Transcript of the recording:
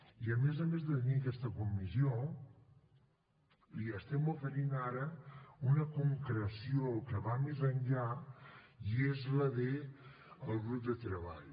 i a més a més de tenir aquesta comissió li estem oferint ara una concreció que va més enllà i és la del grup de treball